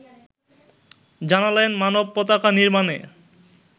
জানালেন মানব পতাকা নির্মাণে